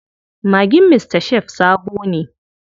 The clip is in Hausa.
Magin Mr Chef sabo ne.